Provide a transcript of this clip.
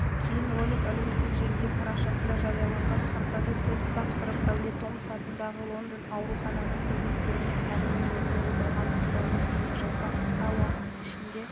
кейін ролик әлеуметтік желідегі парақшасында жарияланған ханзадатест тапсырып әулие томас атындағы лондон аурухананың қызметкерімен әңгімелесіп отырғаны туралы бейнежазбанықысқа уақыт ішінде